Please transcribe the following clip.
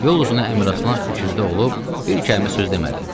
Yol uzunu Əmiraslan fikirdə olub bir kəlmə söz demədi.